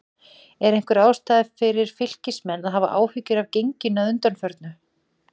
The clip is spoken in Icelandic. Er einhver ástæða fyrir Fylkismenn að hafa áhyggjur af genginu að undanförnu?